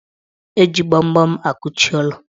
Eji gbamgbam akuchi ụlọ.